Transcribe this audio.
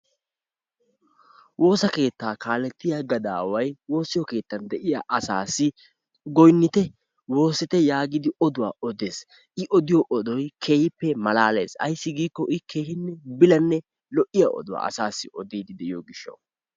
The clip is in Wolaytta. Woossa keettaa kaaletiyaa gadaway woossa keettaan de'iyaa asass goynitte, woossite yaagidi oduwaa oddees. I odiyoo odoy keehippe malalees. Ayssi giiko I keehippe bilanne lo"iyaa oduwaa odidde de'iyoo gishshaw.